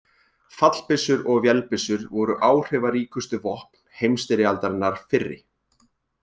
Fallbyssur og vélbyssur voru áhrifaríkustu vopn heimsstyrjaldarinnar fyrri.